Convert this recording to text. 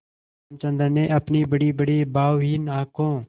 रामचंद्र ने अपनी बड़ीबड़ी भावहीन आँखों